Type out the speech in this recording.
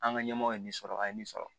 An ka ɲɛmɔgɔ ye nin sɔrɔ a ye nin sɔrɔ